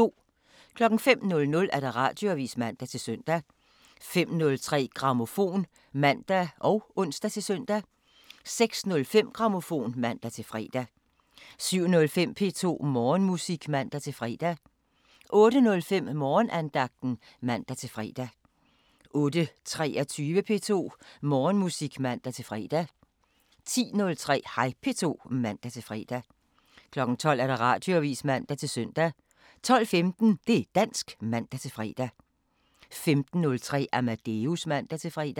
05:00: Radioavisen (man-søn) 05:03: Grammofon (man og ons-søn) 06:05: Grammofon (man-fre) 07:05: P2 Morgenmusik (man-fre) 08:05: Morgenandagten (man-fre) 08:23: P2 Morgenmusik (man-fre) 10:03: Hej P2 (man-fre) 12:00: Radioavisen (man-søn) 12:15: Det' dansk (man-fre) 15:03: Amadeus (man-fre)